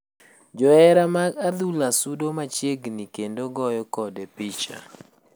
Johera mag adhula sudo machiegi kendo goyo kode picha.